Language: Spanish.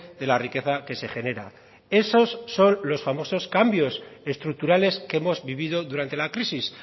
de la riqueza que se genera esos son los famosos cambios estructurales que hemos vivido durante la crisis